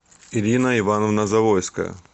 ирина ивановна завойская